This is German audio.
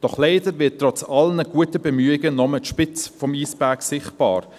Doch leider wird trotz aller guten Bemühungen nur die Spitze des Eisbergs sichtbar.